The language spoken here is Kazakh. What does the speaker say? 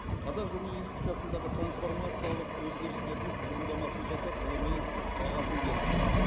қазақ журналистикасындағы трансформациялық өзгерістердің тұжырымдамасын жасап ғылыми бағасын бердіңіз